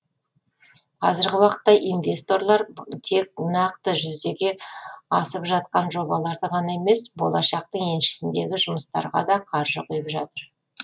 қазіргі уақытта инвесторлар тек нақты жүзеге асып жатқан жобаларды ғана емес болашақтың еншісіндегі жұмыстарға да қаржы құйып жатыр